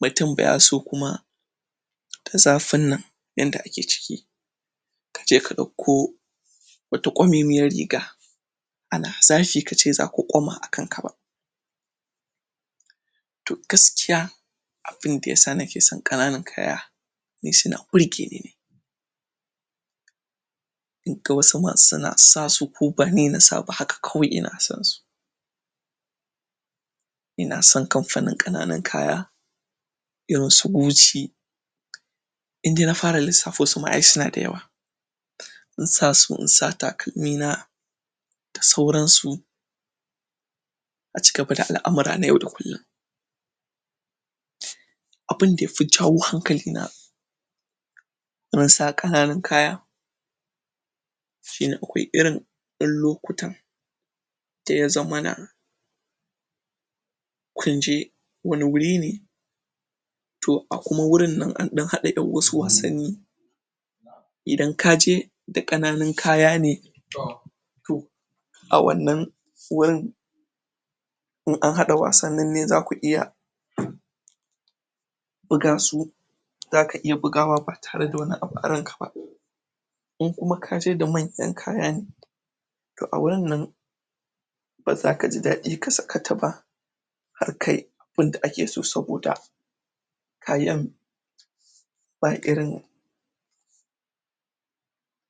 mutum bayaso kuma a zafin nan yanda ake ciki kaje ka ɗauko wata ƙwamemiyar riga ana zafi kace zaka ƙwama wa kanka ba to gaskiya abunda yasa nakesan kananan kaya ni suna birgeni ne inga wasu ma suna sasu ko bani nasa ba haka kawai ina sansu inasan kamfanin ƙananan kaya irinsu goci inna fara lissafosu ma ai suna da yawa insasu insa takalmina da sauransu a cigaba da al'amura na yau da kullin abunda yafi jawo hankalina wurin sa kananan kaya shine akwai irin ƴan lokutan daya zama na kunje wani wuri ne to a kuma wurin nan anɗan haɗa yan wasu wasanni idan kaje da kananun kaya ne to a wannan wurin in anhaɗa wasannan ne zaku iya bugasu zaka iya bugawa ba tare da wani abu a ranka ba in kuma kaje da manyan kaya ne to a wurin nan baza kaji daɗi ka sakata ba har kai abunda akeso saboda kayan ba irin